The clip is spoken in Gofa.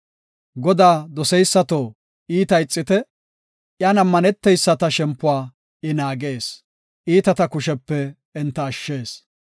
Godaa doseysato, iitaa ixite; iyan ammaneteyisata shempuwa I naagees; iitata kushepe enta ashshees.